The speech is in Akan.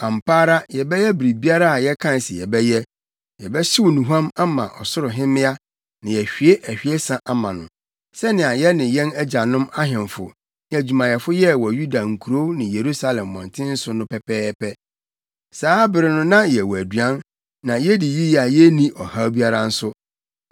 Ampa ara yɛbɛyɛ biribiara a yɛkae se yɛbɛyɛ: Yɛbɛhyew nnuhuam ama Ɔsoro Hemmea na yɛahwie ahwiesa ama no, sɛnea yɛne yɛn agyanom, ahemfo ne adwumayɛfo yɛɛ wɔ Yuda nkurow ne Yerusalem mmɔnten so no pɛpɛɛpɛ. Saa bere no na yɛwɔ aduan, na yedi yiye a yenni ɔhaw biara nso.